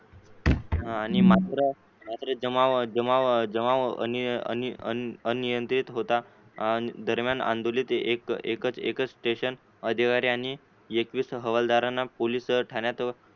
आणि मात्र मात्र जमाव जमाव जमाव अनियंत्रित होता दरम्यान आंदोलन एकच एकच station अधिकारी आणि येकेविस हवालदारांना पोलीस ठाण्यात